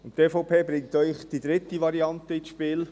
Die EVP bringt eine dritte Variante ins Spiel.